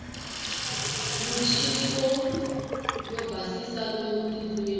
muchiniwo yo basisa lomu tindlwini